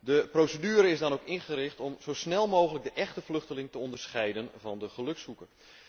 De procedure is dan ook ingericht om zo snel mogelijk de échte vluchteling te onderscheiden van de gelukzoeker.